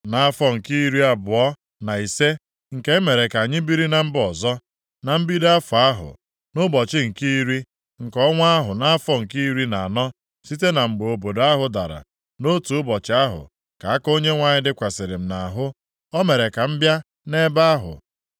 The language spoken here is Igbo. Nʼafọ nke iri abụọ na ise nke e mere ka anyị biri na mba ọzọ, na mbido afọ ahụ, nʼụbọchị nke iri, nke ọnwa ahụ nʼafọ nke iri na anọ site na mgbe obodo ahụ dara, nʼotu ụbọchị ahụ ka aka Onyenwe anyị dịkwasịrị m nʼahụ. O mere ka m bịa nʼebe ahụ.